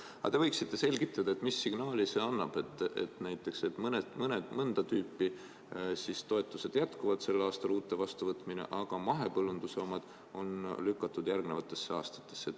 Aga te võiksite selgitada, mis signaali see annab, et näiteks mõnda tüüpi toetused jätkuvad sel aastal – uute vastuvõtmine –, aga mahepõllunduse omad on lükatud järgnevatesse aastatesse.